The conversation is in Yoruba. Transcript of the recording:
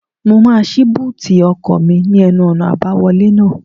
Mo máa ṣí búùtì ọkọ̀ mi ní ẹnu-ọ̀nà àbáwọlé náà